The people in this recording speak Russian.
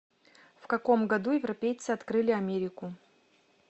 в каком году европейцы открыли америку